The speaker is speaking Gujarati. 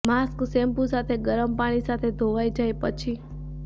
માસ્ક શેમ્પૂ સાથે ગરમ પાણી સાથે ધોવાઇ જાય પછી